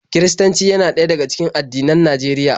Kiristanci yana ɗaya daga cikin addinan Najeriya.